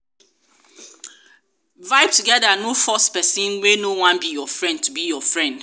vibe together no force person wey no wan be your friend to be your friend